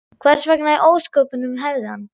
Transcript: Hvers vegna í ósköpunum hefði hann?